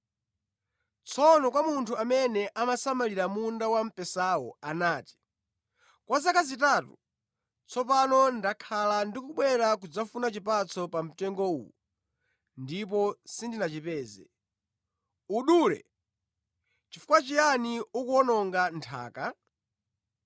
Tsono kwa munthu amene amasamalira munda wamphesawo anati, ‘Kwa zaka zitatu tsopano ndakhala ndikubwera kudzafuna chipatso pa mtengo uwu ndipo sindinachipeze. Udule! Nʼchifukwa chiyani ukuwononga nthaka?’